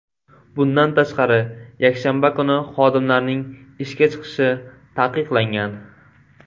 Bundan tashqari, yakshanba kuni xodimlarning ishga chiqishi taqiqlangan.